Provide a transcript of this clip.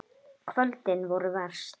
Kvöldin voru verst.